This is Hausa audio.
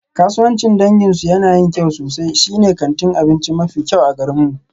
Kasuwancin danginsu yana yin kyau sosai, shine kantin abinci mafi kyau a garinmu.